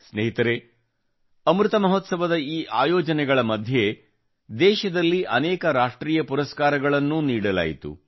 ಸ್ನೇಹಿತರೆ ಅಮೃತ ಮಹೋತ್ಸವದ ಈ ಆಯೋಜನೆಗಳ ಮಧ್ಯೆ ದೇಶದಲ್ಲಿ ಅನೇಕ ರಾಷ್ಟ್ರೀಯ ಪುರಸ್ಕಾರಗಳನ್ನೂ ನೀಡಲಾಯಿತು